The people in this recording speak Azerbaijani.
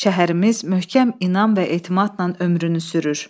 Şəhərimiz möhkəm inan və etimadla ömrünü sürür.